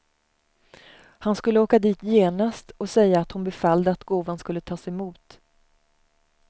Han skulle åka dit genast och säga att hon befallde att gåvan skulle tas emot.